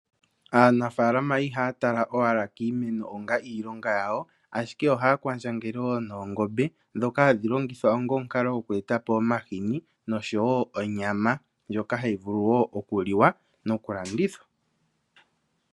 Aanafalama ihaya tala owala kiimeno onga iilonga yawo ashike oha kwandjangele wo noongombe dhoka hadhi longithwa onga omukalo omahini noshowo onyama ndjono hayi vulu wo oku liwa noku landithwa.